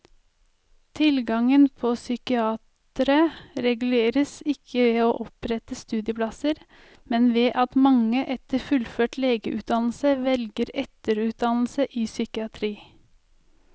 Tilgangen på psykiatere reguleres ikke ved å opprette studieplasser, men ved at mange etter fullført legeutdannelse velger etterutdannelse i psykiatri.